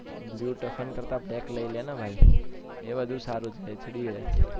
blue typhoon કરતા black લઈને ભાઈ એ વધુ સારું છે HD હે